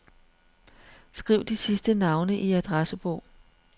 Skriv de sidste navne i adressebog.